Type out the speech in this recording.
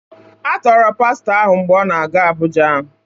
A tọọrọ Pastọ ahụ mgbe ọ na-aga Abuja